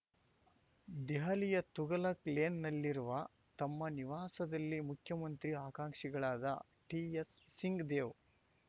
ದೆಹಲಿಯ ತುಘಲಕ್‌ ಲೇನ್‌ನಲ್ಲಿರುವ ತಮ್ಮ ನಿವಾಸದಲ್ಲಿ ಮುಖ್ಯಮಂತ್ರಿ ಆಕಾಂಕ್ಷಿಗಳಾದ ಟಿಎಸ್‌ ಸಿಂಗ್‌ ದೇವ್‌